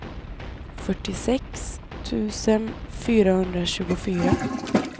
fyrtiosex tusen femhundratjugofyra